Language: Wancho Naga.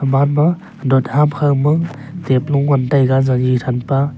bahar ma rod ham kaw ma tablo ngan taiga zazi thampa.